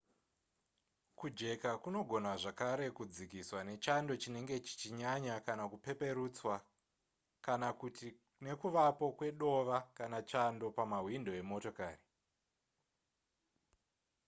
kujeka kunogona zvakare kudzikiswa nechando chinenge chichinaya kana kupeperutswa kana kuti nekuvapo kwedova kana chando pamahwindo emotokari